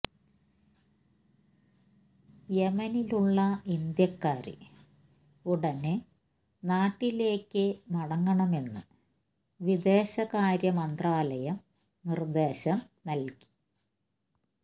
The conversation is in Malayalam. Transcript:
യമനിലുള്ള ഇന്ത്യക്കാര് ഉടന് നാട്ടിലേക്ക് മടങ്ങണമെന്ന് വിദേശകാര്യ മന്ത്രാലയം നിര്ദ്ദേശം നല്കി